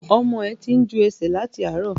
Ọmọ ẹ tí ń jú ẹsẹ̀ láti àárọ̀.